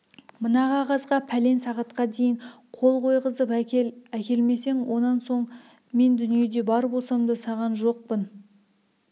мына қағазға пәлен сағатқа дейін қол қойғызып әкел әкелмесең онан соң мен дүниеде бар болсам да саған жоқпын